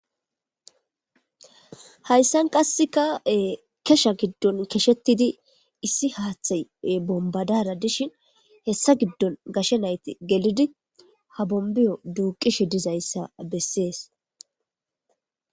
hayssan qaseka kesha giddon keshetidi issi haththay bombadara dishin hessa giddon gashe nayti gelidi ha bombiyo duuqishe dizayssa bessees.